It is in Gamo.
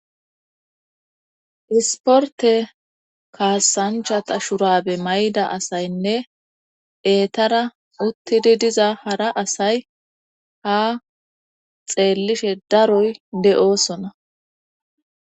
Isportte kaasanchata shurabe mayida asaynne eetara uttidi diza hara asay ha xeellishe daroy de7oosona.